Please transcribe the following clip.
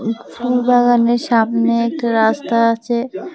ফুল বাগানের সামনে একটি রাস্তা আছে।